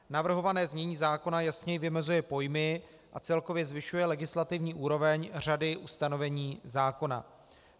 Navrhované znění zákona jasněji vymezuje pojmy a celkově zvyšuje legislativní úroveň řady ustanovení zákona.